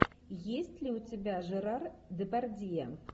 есть ли у тебя жерар депардье